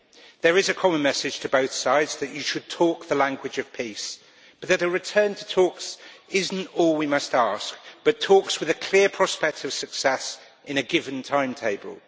There is a common message to both sides that you should talk the language of peace, but that a return to talks is not all we must ask, but also talks with a clear prospect of success in a given timetable.